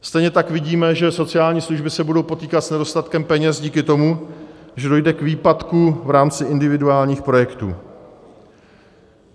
Stejně tak vidíme, že sociální služby se budou potýkat s nedostatkem peněz díky tomu, že dojde k výpadku v rámci individuálních projektů.